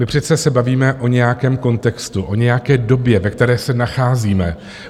My přece se bavíme o nějakém kontextu, o nějaké době, ve které se nacházíme.